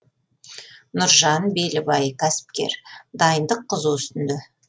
нұржан белібай кәсіпкер дайындық қызу үстінде